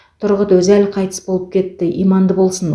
тұрғұт өзәл қайтыс болып кетті иманды болсын